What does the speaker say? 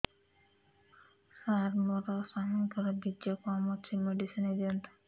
ସାର ମୋର ସ୍ୱାମୀଙ୍କର ବୀର୍ଯ୍ୟ କମ ଅଛି ମେଡିସିନ ଦିଅନ୍ତୁ